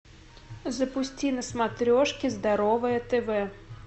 запусти на смотрешке здоровое тв